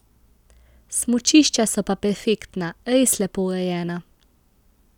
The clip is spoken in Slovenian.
Smučišča so pa perfektna, res lepo urejena.